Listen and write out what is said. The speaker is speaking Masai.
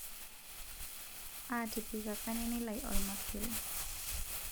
atipikaka nini lai olmasuri